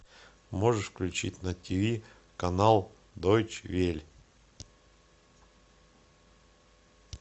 можешь включить на ти ви канал дойч вель